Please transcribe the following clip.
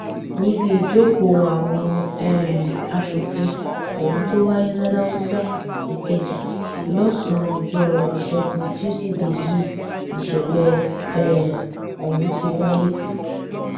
níbi ìjókòó àwọn um aṣòfin ọhún tó wáyé laláùsa ìkẹjà lọsànán ọjọ ìṣẹgun túṣídéé yìí nìṣẹlẹ um ọhún ti wáyé